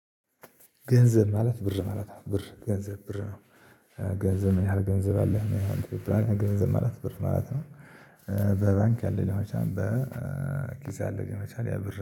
ገንዘብ ማለት ብር ማለት ነው ብር ገንዘብ ብር ነው። ገንዘብ ምን ያህል ገንዘብ አለህ ምን ያህል? ገንዘብ ማለት ብር ማለት ነው። በባንክ ያለ ሊሆን ይችላል በኪስ ያለ ሊሆን ይችላል ያ ብር